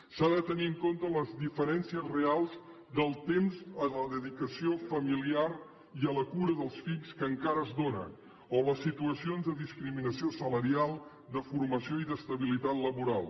s’han de tenir en compte les diferències reals del temps de la dedicació familiar i a la cura dels fills que encara es dóna o les situacions de discriminació salarial de formació i d’estabilitat laboral